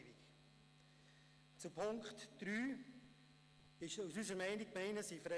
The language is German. Unsere Meinung zum Punkt 3: Die Gemeinden sind frei.